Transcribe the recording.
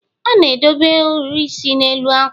a na-edobe ohiri isi n'elu ákwà